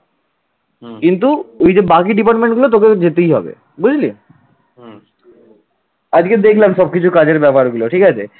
আজকে দেখলাম সবকিছু কাজের ব্যাপার গুলো ঠিক আছে